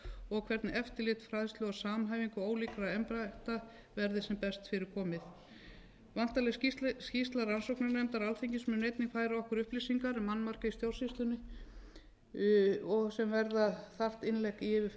og hvernig eftirlit fræðslu og samhæfing ólíkra embætta verði sem best fyrir komið væntanleg skýrsla rannsóknarnefndar alþingis mun einnig færa okkur upplýsingar um annmarka í stjórnsýslunni og sem verða þarft innlegg í yfirferð alþingis á þessu frumvarpi að svo mæltu legg